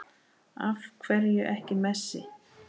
Af hverju ekki Messi?